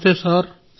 నమస్తే సార్